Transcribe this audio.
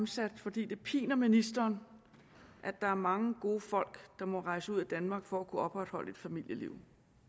stillet fordi det piner ministeren at der er mange gode folk der må rejse ud af danmark for at kunne opretholde et familieliv